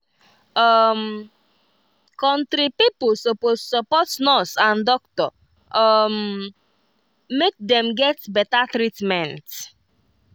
um country pipo suppose support nurse and doctor um make dem get better treatment.